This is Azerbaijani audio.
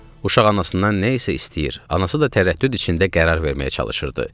Uşaq anasından nə isə istəyir, anası da tərəddüd içində qərar verməyə çalışırdı.